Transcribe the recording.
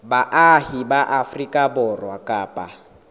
baahi ba afrika borwa kapa